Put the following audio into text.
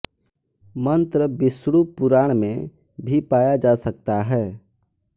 मंत्र विष्णु पुराण में भी पाया जा सकता है